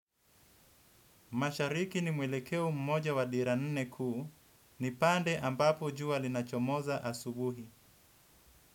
Mashariki ni mwelekeo mmoja wa dira nne kuu, ni pande ambapo jua linachomoza asubuhi.